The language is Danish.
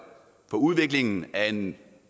for udviklingen af en